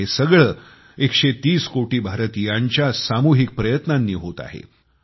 आणि हे सगळं 130 कोटी भारतीयांच्या सामुहिक प्रयत्नांनी होत आहे